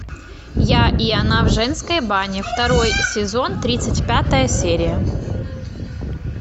я и она в женской бане второй сезон тридцать пятая серия